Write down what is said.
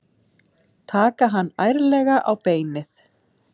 Taka hann ærlega á beinið.